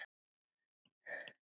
Guð fylgi henni.